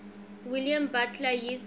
william butler yeats